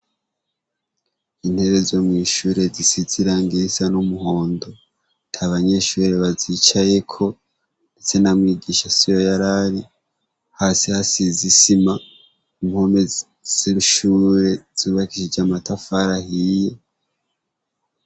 Intebe zo mw'ishure zisizira ngisa n'umuhondo ta banyeshure bazicayeko, ndetse n'amwigisha si yo yarari hasi hasi izisima umpomezishure zubakishije amatafara ahiye.